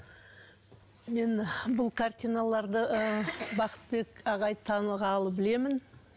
мен бұл картиналарды ы бақытбек ағайды танығалы білемін